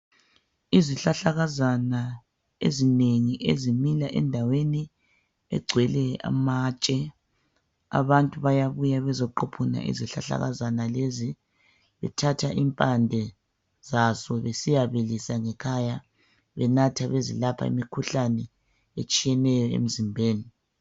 Izihlahlakazana ezinengi ezimila egcwele amatshe. Abantu bayabuya bezoquphuna izihlahlakazana lezi bethatha impande zazo besiyabilisa ngekhaya benathe bezelapha imikhuhlane etshiyeneyo emzimbeni.